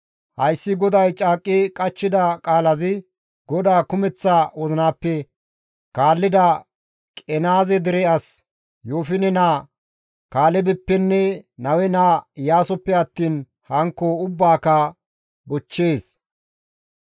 Hayssi GODAY caaqqi qachchida qaalazi GODAA kumeththa wozinappe kaallida Qenaaze dere as Yoofine naa Kaalebeppenne Nawe naa Iyaasoppe attiin hankko asaa ubbaaka bochchees.